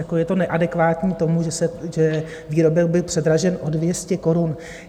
Jako je to neadekvátní tomu, že výrobek byl předražen o 200 korun.